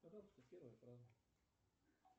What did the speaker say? пожалуйста первая фраза